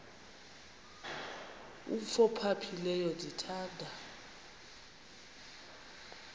umf ophaphileyo ndithanda